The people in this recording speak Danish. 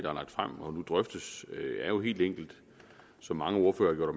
er lagt frem og nu drøftes er jo helt enkelt som mange ordførere har